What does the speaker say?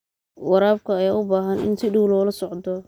Waraabka ayaa u baahan in si dhow loola socdo.